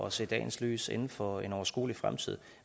at se dagens lys inden for en overskuelig fremtid